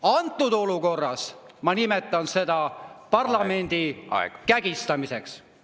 Antud olukorras ma nimetan seda parlamendi kägistamiseks.